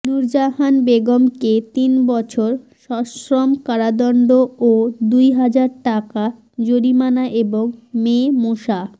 নুরজাহান বেগমকে তিন বছর সশ্রম কারাদণ্ড ও দুই হাজার টাকা জরিমানা এবং মেয়ে মোসা